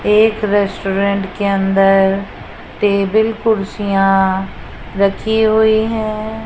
एक रेस्टोरेंट के अंदर टेबल कुर्सियां रखी हुई हैं।